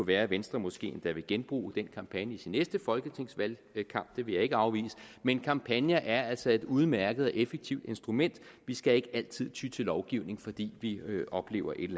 være at venstre måske endda vil genbruge den kampagne i sin næste folketingsvalgkamp det vil jeg ikke afvise men kampagner er altså et udmærket og effektivt instrument vi skal ikke altid ty til lovgivning fordi vi oplever et